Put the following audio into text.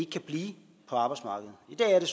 kan blive på arbejdsmarkedet i dag er det